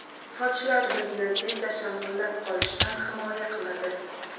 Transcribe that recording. Sochlar bizni tezda shamollab qolishdan himoya qiladi.